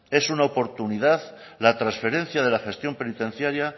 es una oportunidad la transferencia de la gestión penitenciaria